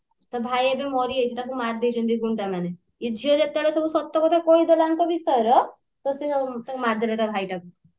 ତା ଭାଇ ଏବେ ମାରି ଯାଇଛି ତାକୁ ମାରି ଦେଇଛନ୍ତି ତାକୁ ଗୁଣ୍ଡା ମାନେ ୟେ ଝିଅ ଯେତେବେଳେ ସବୁ ସତ କଥା କହିଦେଲା ୟାଙ୍କ ବିଷୟର ତ ସେ ତାକୁ ମାରିଦେଲେ ତା ଭାଇଟାକୁ